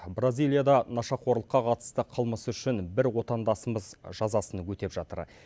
бразилияда нашақорлыққа қатысты қылмысы үшін бір отандасымыз жазасын өтеп жатыр